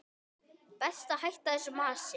Best að hætta þessu masi.